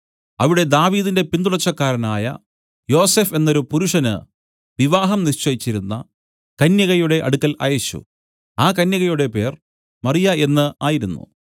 അവിടെ ദാവീദിന്റെ പിന്തുടർച്ചക്കാരനായ യോസഫ് എന്നൊരു പുരുഷന് വിവാഹം നിശ്ചയിച്ചിരുന്ന കന്യകയുടെ അടുക്കൽ അയച്ചു ആ കന്യകയുടെ പേർ മറിയ എന്ന് ആയിരുന്നു